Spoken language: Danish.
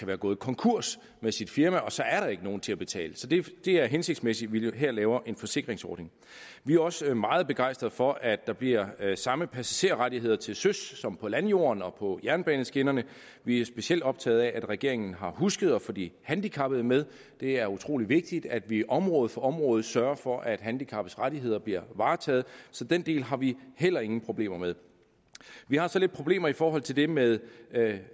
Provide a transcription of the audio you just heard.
være gået konkurs med sit firma og så er der ikke nogen til at betale så det er hensigtsmæssigt at vi her laver en forsikringsordning vi er også meget begejstrede for at der bliver samme passagerrettigheder til søs som på landjorden og på jernbaneskinnerne vi er specielt optagede af at regeringen har husket at få de handicappede med det er utrolig vigtigt at vi område for område sørger for at handicappedes rettigheder bliver varetaget så den del har vi heller ingen problemer med vi har så lidt problemer i forhold til det med